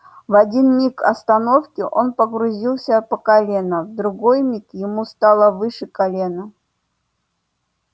в один миг остановки он погрузился по колено в другой миг ему стало выше колена